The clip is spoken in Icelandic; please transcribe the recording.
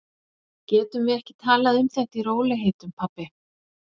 Getum við ekki talað um þetta í rólegheitum, pabbi?